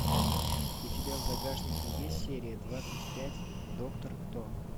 у тебя в загашнике есть серия двадцать пять доктор кто